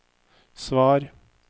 svar